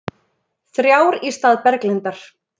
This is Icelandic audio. Þrjár í stað Berglindar